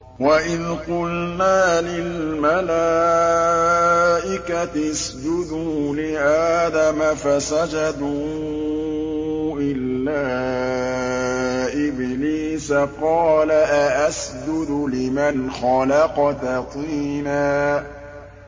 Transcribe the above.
وَإِذْ قُلْنَا لِلْمَلَائِكَةِ اسْجُدُوا لِآدَمَ فَسَجَدُوا إِلَّا إِبْلِيسَ قَالَ أَأَسْجُدُ لِمَنْ خَلَقْتَ طِينًا